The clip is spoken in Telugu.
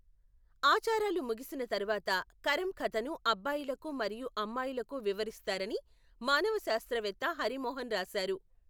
ఆచారాలు ముగిసిన తరువాత, కరం కథను అబ్బాయిలకు మరియు అమ్మాయిలకు వివరిస్తారని మానవశాస్త్రవేత్త హరి మోహన్ రాశారు.